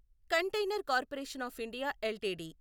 container corporation of India LTD